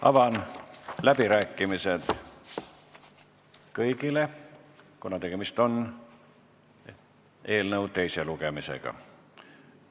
Avan läbirääkimised, kus saavad osaleda kõik, kuna tegemist on eelnõu teise lugemisega.